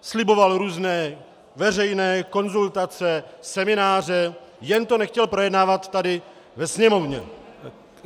sliboval různé veřejné konzultace, semináře, jen to nechtěl projednávat tady ve Sněmovně.